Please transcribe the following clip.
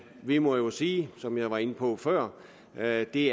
vi må jo sige som jeg var inde på før at det